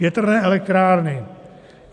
Větrné elektrárny.